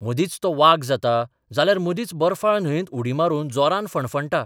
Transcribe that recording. मदींच तो वाग जाता जाल्यार मदींच बर्फाळ न्हयेंत उडी मारून जोरान फणफणटा.